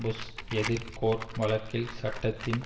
push எதிர் Gore வழக்கில் சட்டத்தின்